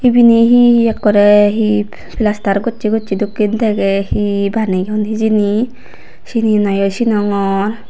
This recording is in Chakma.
ibeni hi hi ekkorey hi palster gocchey gocchey dokken degey hi baneyon hijeni syeni nayo sinongor.